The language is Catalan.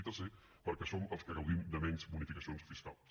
i tercer perquè som els que gaudim de menys bonificacions fiscals